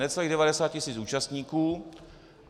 Necelých 90 tis. účastníků.